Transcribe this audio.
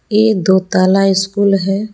ये दो ताला स्कूल है।